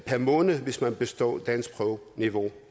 måneden hvis man består danskprøven på niveau